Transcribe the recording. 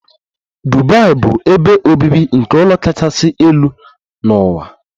Dubai bụ ebe obibi nke ụlọ kachasị elu n'ụwa.